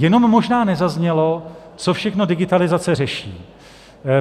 Jenom možná nezaznělo, co všechno digitalizace řeší.